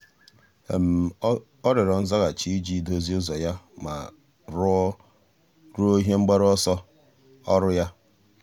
ọ́ rịọ̀rọ̀ nzaghachi iji dòzìé ụ́zọ́ ya ma rúó ihe mgbaru ọsọ ọ́rụ́ ya.